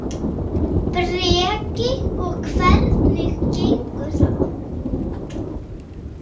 Breki: Og hvernig gengur það?